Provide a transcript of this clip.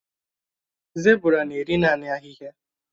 Zébụrà nà-èrí naanị ahịhịa.